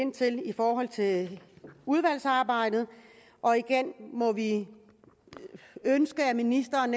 i forhold til udvalgsarbejdet og igen må vi ønske at ministeren